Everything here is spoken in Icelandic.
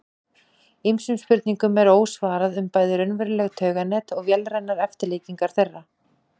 Ýmsum spurningum er ósvarað um bæði raunveruleg tauganet og vélrænar eftirlíkingar þeirra.